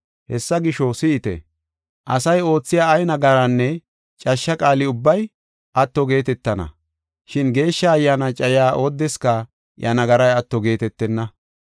Hessa gisho, si7ite; asay oothiya ay nagarinne cashsha qaali ubbay atto geetetana, shin Geeshsha Ayyaana cayiya oodeska iya nagaray atto geetetenna.